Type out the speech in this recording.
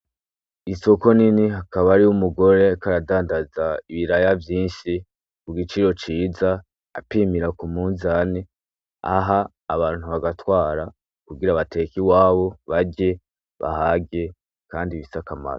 Isoko nini hakaba ari wo umugore karadandaza ibiraya vyinshi ku giciro ciza apimira ku muzane aha abantu bagatwara kugira abatekai wabo barye bahage, kandi bisakamara.